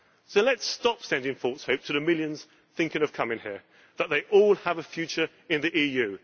So let us stop sending false hope, to the millions thinking of coming here, that they all have a future in the EU.